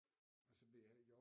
Og så ved jeg heller ikke